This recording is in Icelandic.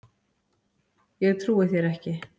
Ég trúi þér ekki!